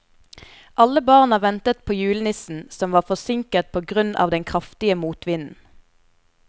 Alle barna ventet på julenissen, som var forsinket på grunn av den kraftige motvinden.